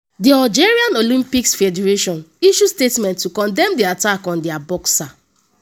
di algeria olympics federation issue statement to condemn di attack on dia boxer